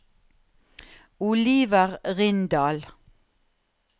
Oliver Rindal